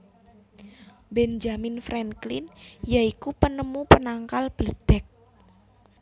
Benjamin Franklin ya iku penemu penangkal bledheg